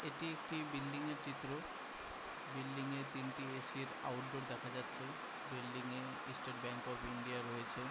এটি একটি বিল্ডিংয়ের চিত্র। বিল্ডিংয়ে তিনটে এ.সি -এর আউটডোর দেখা যাচ্ছে। বিল্ডিংয়ে ইস্টেড ব্যাঙ্ক অফ ইন্ডিয়া রয়েছে।